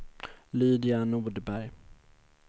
Lydia Nordberg